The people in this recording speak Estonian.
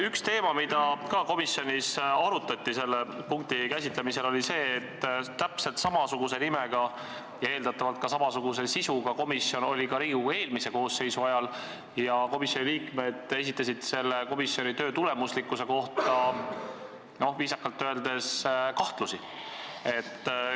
Üks teema, mida komisjonis selle punkti käsitlemisel arutati, oli see, et täpselt samasuguse nimega ja eeldatavalt ka samasuguse sisuga komisjon oli ka Riigikogu eelmise koosseisu ajal ning komisjoni liikmed esitasid selle komisjoni töö tulemuslikkuse kohta viisakalt öeldes kahtlusi.